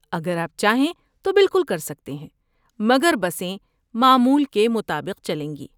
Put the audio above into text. اگر آپ چاہیں تو بالکل کر سکتے ہیں، مگر بسیں معمول کے مطابق چلیں گی۔